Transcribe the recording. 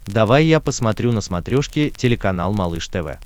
давай я посмотрю на смотрешке телеканал малыш тв